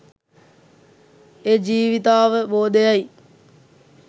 ඒ ජීවිතාවබෝධයයි.